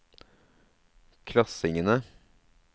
klassingene